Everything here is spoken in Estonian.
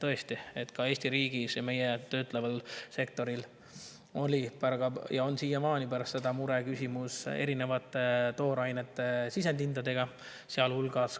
Tõesti, ka Eesti riigi ja meie töötleva sektori mureküsimus oli pärast seda ja on siiamaani erinevate toorainete sisendhinnad, sealhulgas